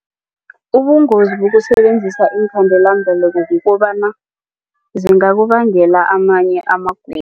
Ubungozi bokusebenzisa iinkhandelambeleko kukobana zingakubangela amanye amagulo.